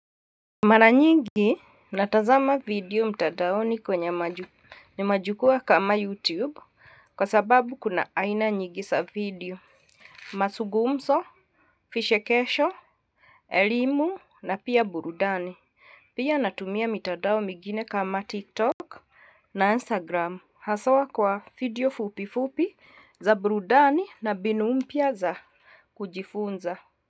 Mara nyingi natazama video mtandaoni kwenye majukwaa kama YouTube kwa sababu kuna aina nyingi za video mazugumzo, vichekesho, elimu na pia burudani. Pia natumia mitandao migine kama TikTok na Instagram haswa kwa video fupi fupi za burudani na mbinu mpya za kujifunza.